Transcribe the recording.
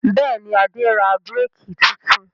Bẹ́ẹ̀ ni, Adé ra búrékì tuntun.